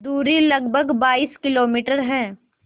दूरी लगभग बाईस किलोमीटर है